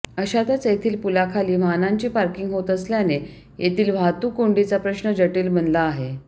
अशातच येथील पुलाखाली वाहनांची पार्किंग होत असल्याने येथील वाहतूक कोंडीचा प्रश्न जटील बनला आहे